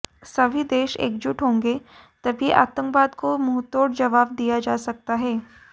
सभी देश एकजुट होंगे तभी आतंकवाद को मुंहतोड़ जवाब दिया जा सकता है